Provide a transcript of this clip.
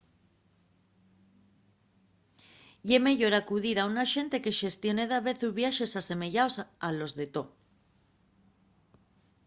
ye meyor acudir a un axente que xestione davezu viaxes asemeyaos a los de to